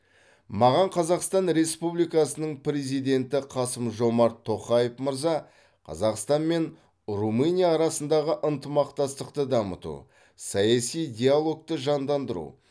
маған қазақстан республикасының президенті қасым жомарт тоқаев мырза қазақстан мен румыния арасындағы ынтымақтастықты дамыту саяси диалогты жандандыру